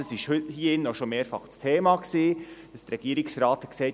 Es war hier drinnen auch schon mehrfach das Thema, dass der Regierungsrat sagte: